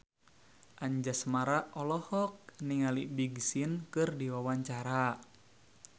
Anjasmara olohok ningali Big Sean keur diwawancara